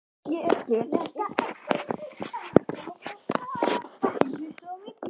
Hluti af varmanum situr eftir í grunnum berglögum nálægt yfirborði.